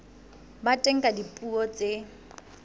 ba teng ka dipuo tse